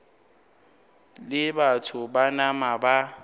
leo batho ba nama ba